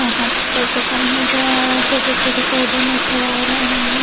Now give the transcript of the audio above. यहाँ पे petrol pump नज़र आ रहा है छोटे छोटे पौधे नज़र आ रहे हैं।